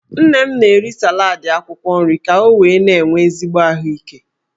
Nne m na-eri salad akwukwo nri ka o wee na-enwe ezigbo ahuike.